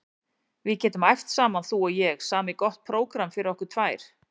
Við getum æft saman þú og ég, samið gott prógramm fyrir okkur tvær.